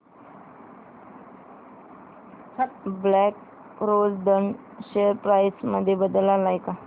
black Rose Ind share price मध्ये बदल आलाय का